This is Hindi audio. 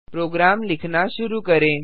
प्रोग्राम लिखना शुरू करें